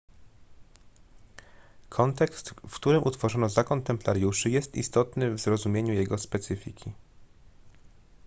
kontekst w którym utworzono zakon templariuszy jest istotny w zrozumieniu jego specyfiki